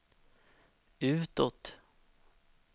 utåt